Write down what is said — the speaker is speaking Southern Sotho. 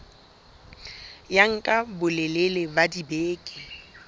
ya nka bolelele ba dibeke